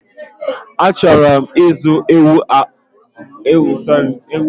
A chọrọ m ịzụ ewu puku abụọ, nari abụọ na itoolu